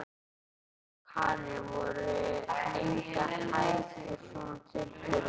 Karen: Voru engar hækjur og svona til fyrir þig?